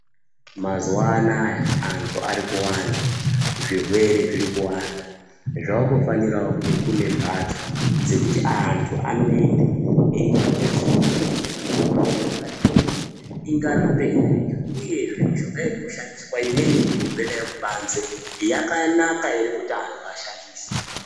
Mazuwa anaya antu ari kuwanda zvirwere zviri kuwanda zvakungofanira kunge kune mhatso dzekuti antu anoende eitonyaso kuningira kuti mushonga iyi ingarapei uyezve mushonga iri kushandiswa imweni iri kubve kubanze yakanaka ere kuti vantu vashandise.